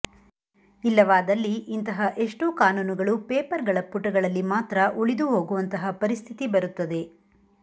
ಇಲ್ಲವಾದಲ್ಲಿ ಇಂತಹ ಎಷ್ಟೋ ಕಾನೂನುಗಳು ಪೇಪರ್ಗಳ ಪುಟಗಳಲ್ಲಿ ಮಾತ್ರ ಉಳಿದು ಹೋಗುವಂತಹ ಪರಿಸ್ಥಿತಿ ಬರುತ್ತದೆ